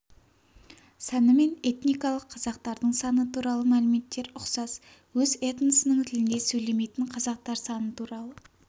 саны мен этникалық қазақтардың саны туралы мәліметтер ұқсас өз этносының тілінде сөйлемейтін қазақтар саны туралы